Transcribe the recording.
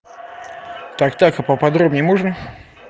так так а поподробнее можно